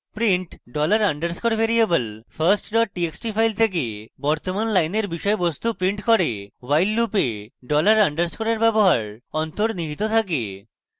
print $_ variable first txt file থেকে বর্তমান লাইনের বিষয়বস্তু print করে while লুপে $_ এর ব্যবহার অন্তর্নিহিত থাকে